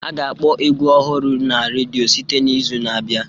A ga-akpọ egwu ọhụrụ a na redio site n'izu na-abịa